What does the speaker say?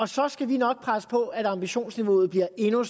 så skal vi nok presse på for at ambitionsniveauet bliver endnu